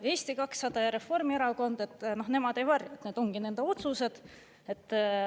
Eesti 200 ja Reformierakond, nemad ei varja, et need on ongi nende otsused.